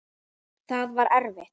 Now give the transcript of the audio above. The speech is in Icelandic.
Það var eftir.